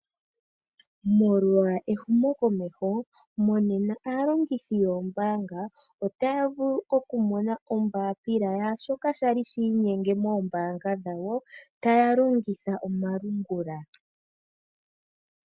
Molwa ehumokomeho, monena aalongithi yoombaanga otaya vulu okumona ombapila yashoka sha li shi inyenge moombaanga dhawo taya longitha omalungula.